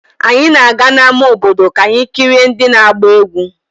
Anyị na-aga n'ama obodo ka anyị kirie ndị na-agba egwu.